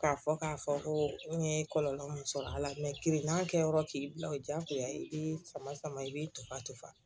K'a fɔ k'a fɔ ko n ye kɔlɔlɔ min sɔrɔ a la kirinan kɛ yɔrɔ k'i bila o diyagoya i b'i sama sama i b'i to fa tofa